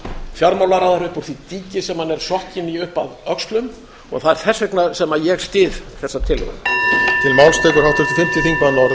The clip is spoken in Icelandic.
fjármálaráðherra upp úr því dýki sem hann er sokkinn í upp að öxlum það er þess vegna sem ég styð þessa tillögu